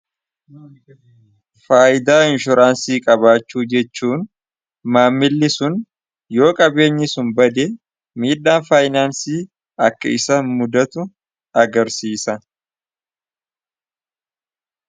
Faayidaa inshuraansii qabaachuu jechuun maamilli sun yoo qabeenyi sun bade miidhaan faayinaansii akka isa muddatu agarsiisan.